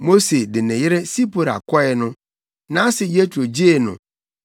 Mose de ne yere Sipora kɔe no, nʼase Yetro gyee no